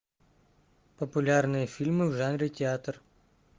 популярные фильмы в жанре театр